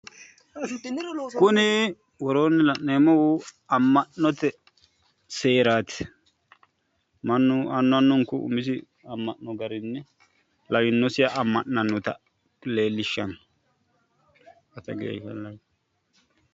Kuni woroonni la'neemmohu amma'note seeraati mannu annu annunku umisi amma'no garinni lawinosiha amma'nannota leellishshanno.